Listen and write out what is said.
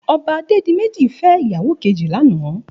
Òbá Adedimeji fè iyàwó kéji làná